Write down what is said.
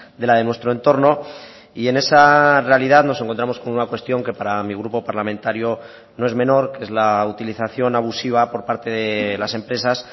de la de nuestro entorno y en esa realidad nos encontramos con una cuestión que para mi grupo parlamentario no es menor que es la utilización abusiva por parte de las empresas